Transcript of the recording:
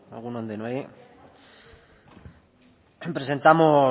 egun on denoi